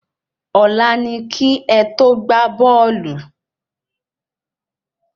Ọlá ni ki é to gbà bóòlù